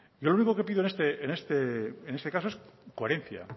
yo lo único que pido en este caso es coherencia